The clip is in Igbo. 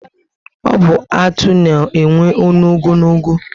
Ọ bu Atụ na enwe ọṅụ ogologo